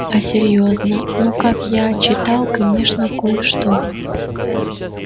а серьёзно ну как я читал конечно кое-что